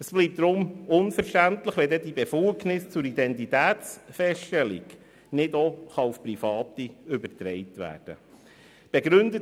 Es wäre deshalb unverständlich, wenn die Befugnisse zur Identitätsfeststellung nicht auf Private übertragen werden könnten.